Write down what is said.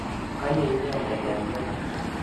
Konyo inendet eng' let.